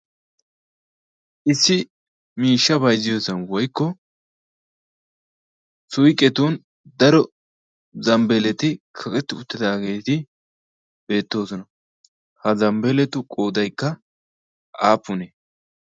issi miishsha bayzziyooson woykko suyqqetun daro zambbeeleti kaqetti uttidaageeti beettoosona ha zambbeeletu qodaykka aapunee